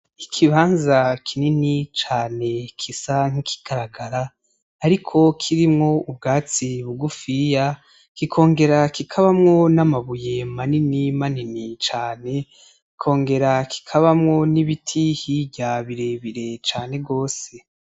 Ikibanza kinini cane kisa nkikigaragara ariko kirimwo ubwatsi bugufiya, kikongera kikabamwo n'amabuye manini manini cane, kikongera kikabamwo n'ibiti hirya birebire cane rwose.